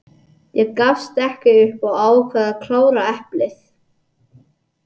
Ég gafst upp og ákvað að klára eplið.